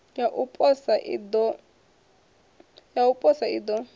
ya u posa i ḓo